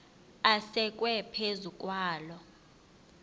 asekwe phezu kwaloo